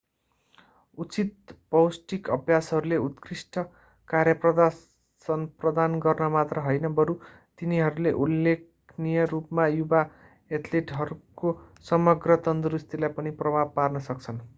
उचित पौष्टिक अभ्यासहरूले उत्कृष्ट कार्यप्रदर्शन प्रदान गर्न मात्र हैन बरू तिनीहरूले उल्लेखनीय रूपमा युवा एथलेटहरूको समग्र तन्दुरुस्तीलाई पनि प्रभाव पार्न सक्छन्